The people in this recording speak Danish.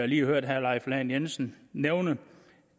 lige har hørt herre leif lahn jensen nævne